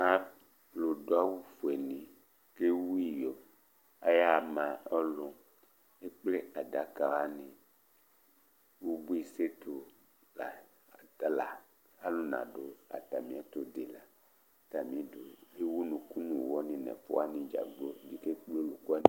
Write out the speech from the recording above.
Alu du awu fʋe ni kʋ ewu iyo Ayaha ma ɔlu Ekple adaka wani Ʋbʋi sɛtu la yɛ Ɔtala alu nadu atami ɛtu di la Atami di Ewu ʋnʋku nʋ ʋwɔ ni nʋ ɛfʋani dzagblo bi kekple ɔluku wani